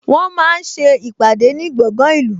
Wọ́n máa ń ṣe ìpàdé ní gbọ̀ngan ìlú